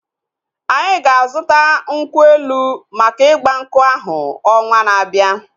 Anyị ga-azuta nkwụ elu maka igbankwu ahu ọnwaa na-abia